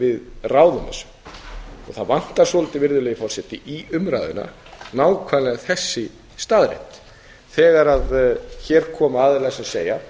við ráðum þessu og það vantar svolítið virðulegi forseti í umræðuna nákvæmlega þessa staðreynd þegar hér koma aðilar sem segja